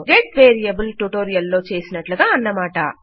get variable tutorial లో చేసినట్టుగా అన్నమాట